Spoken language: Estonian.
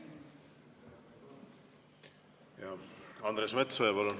Andres Metsoja, palun!